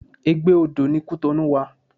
Egbe odó ni Cotonou wa